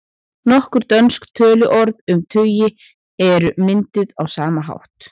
Nokkur dönsk töluorð um tugi eru mynduð á sama hátt.